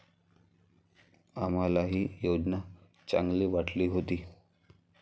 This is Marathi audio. आम्हालाही योजना चांगली वाटली होती.